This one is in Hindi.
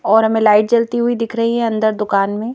और हमें लाइट जलती हुई दिख रही है अंदर दुकान में--